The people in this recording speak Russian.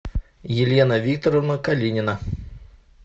елена викторовна калинина